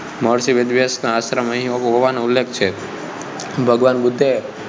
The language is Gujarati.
મહર્ષિ વેદવ્યાસ નો આશ્રમ અહીં હોવાનો ઉલ્લેખ છે, ભગવાન બુદ્ધે